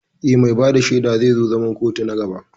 Eh, mai bada shaidan zai zo zaman kotun na gaba